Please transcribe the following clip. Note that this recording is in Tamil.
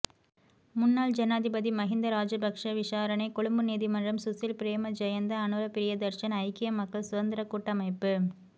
முன்னாள் ஜனாதிபதி மஹிந்தராஜபக்ஷ விசாரணை கொழும்பு நீதிமன்றம் சுசில் பிரேமஜயந்த அனுர பிரியதர்ஷன ஐக்கிய மக்கள் சுதந்திரக் கூட்டமைப்பு